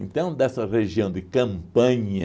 dessa região de Campanha,